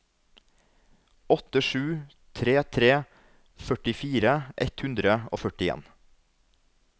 åtte sju tre tre førtifire ett hundre og førtien